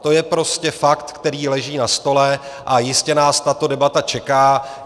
To je prostě fakt, který leží na stole, a jistě nás tato debata čeká.